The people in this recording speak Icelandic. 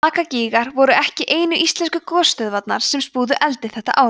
lakagígar voru ekki einu íslensku gosstöðvarnar sem spúðu eldi þetta árið